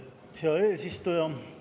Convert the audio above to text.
Hea eesistuja!